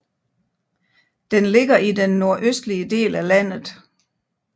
Den ligger i den nordøstlige del af landet